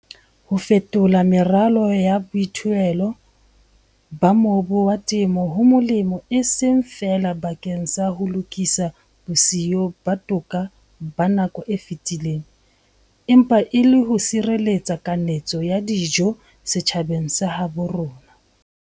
Ho fetola meralo ya boithuelo ba mobu wa temo ho molemo e seng feela bakeng sa ho lokisa bosiyo ba toka ba nako e fetileng, empa le ho sireletsa kanetso ya dijo setjhabeng sa habo rona.